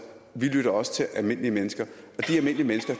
vi lytter også til almindelige mennesker og